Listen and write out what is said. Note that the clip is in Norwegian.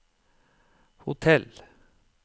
hotell